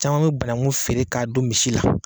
Caman be banakun feere k'a don misi la